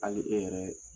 Hali e yɛrɛ